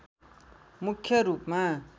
मुख्य रूपमा